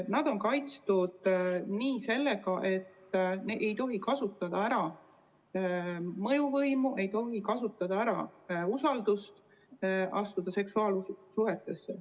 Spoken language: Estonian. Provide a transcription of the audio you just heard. Nad on kaitstud sellega, et nende puhul ei tohi kasutada ära mõjuvõimu ega usaldust, astumaks seksuaalsuhtesse.